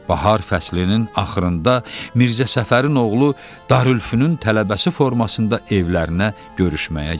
Bahar fəslinin axırında Mirzə Səfərin oğlu darülfünün tələbəsi formasında evlərinə görüşməyə gəldi.